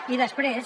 i després